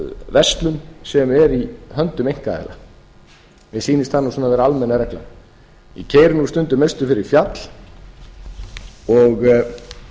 verslun sem er í höndum einkaaðila mér sýnist það vera almenna reglan ég keyri stundum austur fyrir fjall og